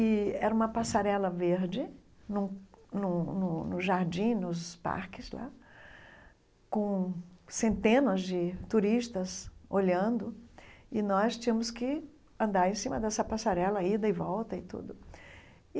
E era uma passarela verde num num no no jardim, nos parques lá, com centenas de turistas olhando, e nós tínhamos que andar em cima dessa passarela, ida e volta e tudo.